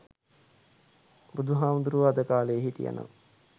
බුදුහාමුදුරුවෝ අද කාලේ හිටියනම්